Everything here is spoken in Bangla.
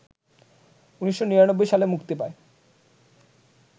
১৯৯৯ সালে মুক্তি পায়